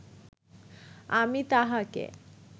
আমি তাহাকে